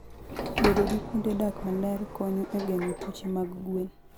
Bedo gi kuonde dak maler konyo e geng'o tuoche mag gwen.